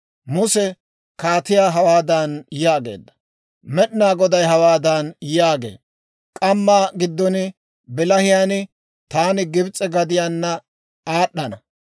Muse kaatiyaa hawaadan yaageedda; «Med'inaa Goday hawaadan yaagee; ‹K'amma giddo bilahiyaan taani Gibs'e gidduwaana aad'ana;